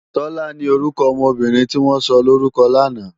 Tola ni órúkò òmò óbìrín tiwòn sòlórúkò làná